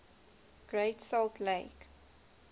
great salt lake